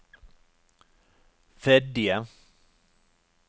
Fedje